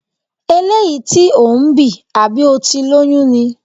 Eléyìí tí ò ń bì, àbí o ti lóyún ni?